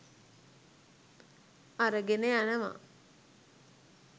අරගෙන යනවා.